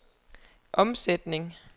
omsætning